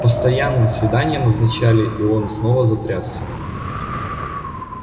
постоянно свидания назначали и он снова затрясся